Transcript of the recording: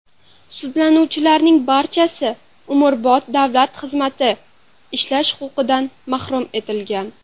Sudlanuvchilarning barchasi umrbod davlat xizmati ishlash huquqidan mahrum etilgan.